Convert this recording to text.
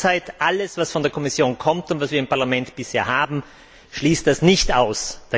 Derzeit schließt alles, was von der Kommission kommt und was wir im Parlament bisher haben, das nicht aus.